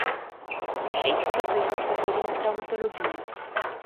Šest pa so jih oskrbeli na travmatologiji.